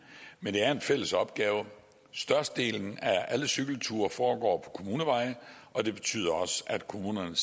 men det er en fælles opgave størstedelen af alle cykelture foregår på kommuneveje og det betyder at kommunerne